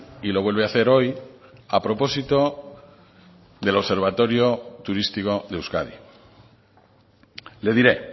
y lo vuelve a hacer hoy a propósito del observatorio turístico de euskadi le diré